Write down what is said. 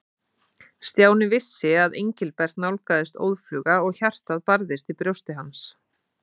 Stjáni vissi að Engilbert nálgaðist óðfluga og hjartað barðist í brjósti hans.